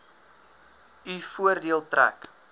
u voordeel trek